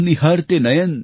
पथ निहारते नयन